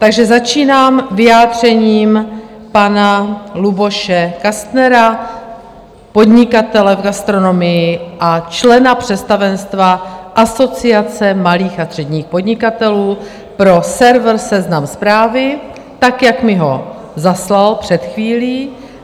Takže začínám vyjádřením pana Luboše Kastnera, podnikatele v gastronomii a člena představenstva Asociace malých a středních podnikatelů pro server Seznam Zprávy, tak jak mi ho zaslal před chvílí.